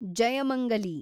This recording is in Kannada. ಜಯಮಂಗಲಿ